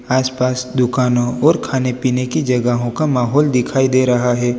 आसपास दुकानों और खाने पीने की जगह का माहौल दिखाई दे रहा है।